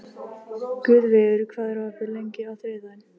Guðveigur, hvað er opið lengi á þriðjudaginn?